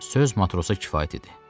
Söz matrosa kifayət idi.